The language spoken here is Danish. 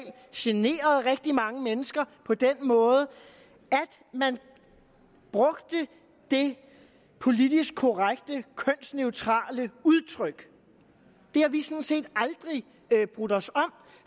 generede rigtig mange mennesker på den måde at man brugte det politisk korrekte kønsneutrale udtryk det har vi sådan set aldrig brudt os om